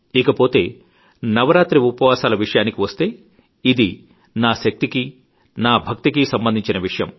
ఇకపోతే నవరాత్రి ఉపవాసాల విషయానికి వస్తే ఇది నా శక్తికీ నా భక్తికీ సంబంధించిన విషయం